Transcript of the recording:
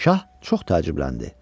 Şah çox təəccübləndi.